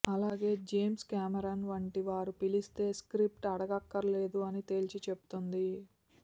అలాగే James Cameron వంటి వారు పిలిస్తే స్క్రిప్ట్ అడగక్కర్లేదు అని తేల్చి చెప్తోంది